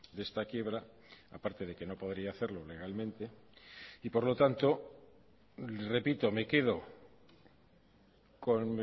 de esta quiebra aparte de que no podría hacerlo legalmente y por lo tanto repito me quedo con